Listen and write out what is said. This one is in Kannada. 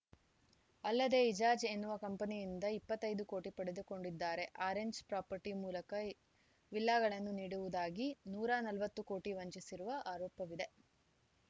ಅಲ್ಲದೆ ಇಜಾಜ್‌ ಎನ್ನುವ ಕಂಪನಿಯಿಂದ ಇಪ್ಪತ್ತ್ ಐದು ಕೋಟಿ ಪಡೆದುಕೊಂಡಿದ್ದಾರೆ ಆರೆಂಜ್‌ ಪ್ರಾಪರ್ಟಿ ಮೂಲಕ ವಿಲ್ಲಾಗಳನ್ನು ನೀಡುವುದಾಗಿ ನೂರ ನಲವತ್ತು ಕೋಟಿ ವಂಚಿಸಿರುವ ಆರೋಪವಿದೆ